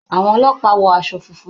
Àwọn ọlọ́pàá wọ aṣọ funfun.